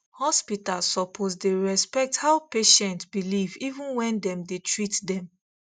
hospital suppose dey respect how patient believe even when dem dey treat dem